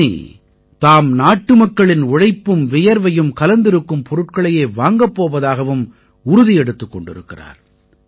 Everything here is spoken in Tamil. இனி தாம் நாட்டுமக்களின் உழைப்பும் வியர்வையும் கலந்திருக்கும் பொருட்களையே வாங்கப் போவதாகவும் உறுதி எடுத்துக் கொண்டிருக்கிறார்